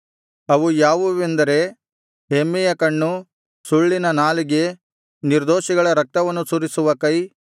ಅವು ಯಾವುವೆಂದರೆ ಹೆಮ್ಮೆಯ ಕಣ್ಣು ಸುಳ್ಳಿನ ನಾಲಿಗೆ ನಿರ್ದೋಷಿಗಳ ರಕ್ತವನ್ನು ಸುರಿಸುವ ಕೈ